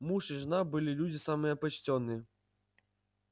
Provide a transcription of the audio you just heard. муж и жена были люди самые почтенные